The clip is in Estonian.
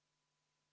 Palun, Erkki Keldo!